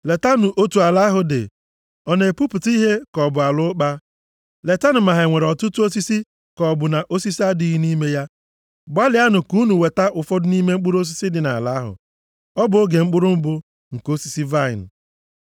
Letanụ otu ala ahụ dị. Ọ na-epupụta ihe ka ọ bụ ala ụkpa? Letanụ ma ha nwere ọtụtụ osisi ka ọ bụ na osisi adịghị nʼime ya. Gbalịanụ ka unu weta ụfọdụ nʼime mkpụrụ osisi dị nʼala ahụ.” (Ọ bụ oge mkpụrụ mbụ nke osisi vaịnị.)